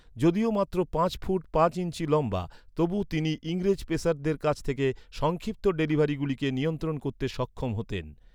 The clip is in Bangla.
যদিও মাত্র পাঁচ ফুট পাঁচ ইঞ্চি লম্বা, তবুও তিনি ইংরেজ পেসারদের কাছ থেকে সংক্ষিপ্ত ডেলিভারিগুলিকে নিয়ন্ত্রণ করতে সক্ষম হতেন।